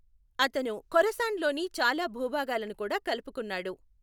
అతను ఖొరాసన్లోని చాలా భూభాగాలను కూడా కలుపుకున్నాడు.